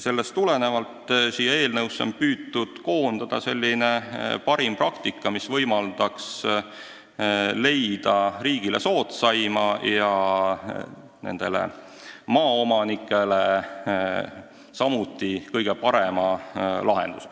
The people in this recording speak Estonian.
Sellest tulenevalt on eelnõu koostamisel püütud silmas pidada parimat praktikat, mis võimaldaks leida riigile soodsaima ja maaomanikele samuti kõige parema lahenduse.